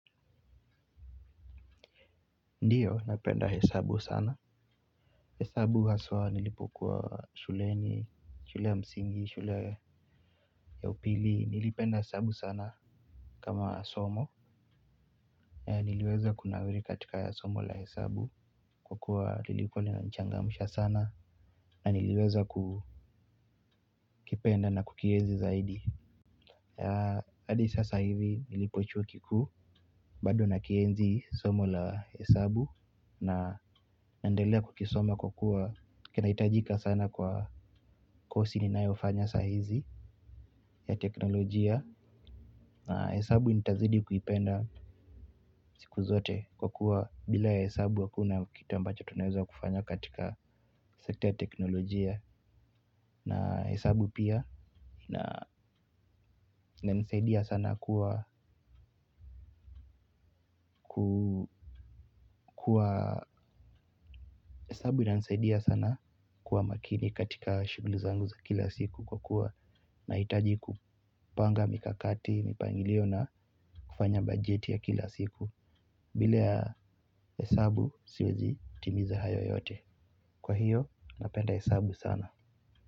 Ndiyo napenda hesabu sana. Hesabu haswa nilipokuwa shuleni, shule ya msingi, shule ya upili, nilipenda hesabu sana kama somo. Niliweza kunawiri katika somo la hesabu kwa kuwa lilikuwa lina nichangamusha sana na niliweza kukipenda na kukiezi zaidi. Adi sasa hivi nilipo chuo kikuu bado na kienzi somo la hesabu na naendelea kukisoma kwa kuwa kinaitajika sana kwa kosi ninayo fanya sahizi ya teknolojia. Na hesabu nitazidi kuipenda siku zote kwa kuwa bila ya hesabu hakuna kitu ambacho tunaeza kufanya katika sekta ya teknolojia. Na hesabu pia inanisaidia sana kuwa makini katika shughuli zangu za kila siku kwa kuwa nahitaji kupanga mikakati, mipangilio na kufanya bajeti ya kila siku. Bila ya hesabu siwezi timiza hayo yote. Kwa hiyo napenda hesabu sana.